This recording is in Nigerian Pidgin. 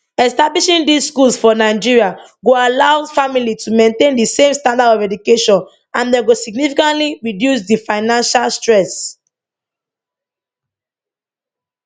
establishing these schools for nigeria go allows families to maintain di same standard of education and dem go significantly reduce di financial stress